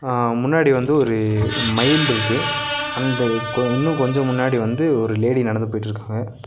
அ முன்னாடி வந்து ஒரு மயில்ருக்கு அண்ட் கொ இன்னு கொஞ்ச முன்னாடி வந்து ஒரு லேடி நடந்து போயிட்ருக்காங்க.